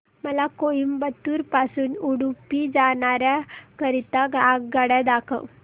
मला कोइंबतूर पासून उडुपी जाण्या करीता आगगाड्या दाखवा